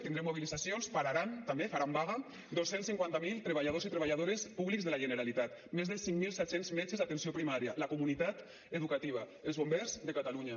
tindrem mobilitzacions pararan també faran vaga dos cents i cinquanta miler treballadors i treballadores públics de la generalitat més de cinc mil set cents metges d’atenció primària la comunitat educativa els bombers de catalunya